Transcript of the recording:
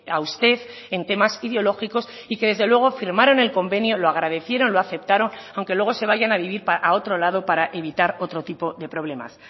a usted en temas ideológicos y que desde luego firmaron el convenio lo agradecieron lo aceptaron aunque luego se vayan a vivir a otro lado para evitar otro tipo de problemas